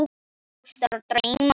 Börn ástar og drauma